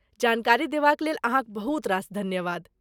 जानकारी देबाक लेल अहाँक बहुत रास धन्यवाद।